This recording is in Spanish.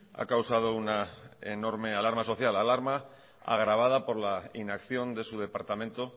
ha causado una enorme alarma social alarma agravada por la inacción de su departamento